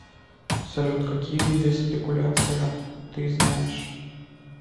салют какие виды спекуляция ты знаешь